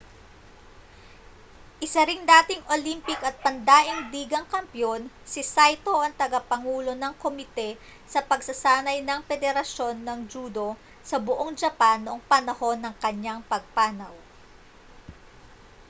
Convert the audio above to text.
isa ring dating olympic at pandaigdigang kampeon si saito ang tagapangulo ng komite sa pagsasanay ng pederasyon ng judo sa buong japan noong panahon ng kaniyang pagpanaw